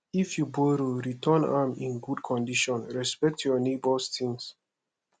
if you borrow return am in good condition respect your neighbors things